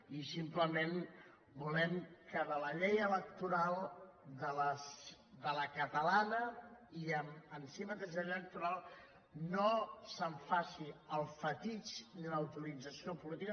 i simplement volem que de la llei electoral de la catalana i en si mateix de la llei electoral no se’n faci el fetitxe ni la utilització política